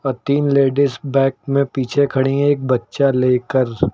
तीन ladies back में पीछे खड़ी हैं एक बच्चा लेकर--